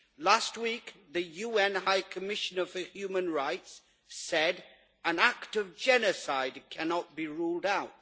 Last week, the UN High Commissioner for Human Rights said that an act of genocide cannot be ruled out.